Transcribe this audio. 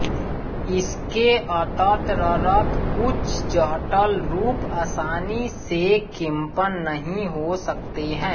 इसके अततरर्त कुछ जहटल रूप आसानी से किंपन नहीिं हो सकत ेहैं